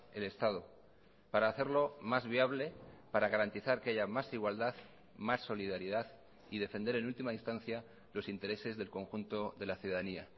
el estado para hacerlo más viable para garantizar que haya más igualdad más solidaridad y defender en última instancia los intereses del conjunto de la ciudadanía